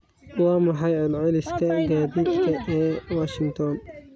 Waa maxay celceliska gaadiidka ee washington?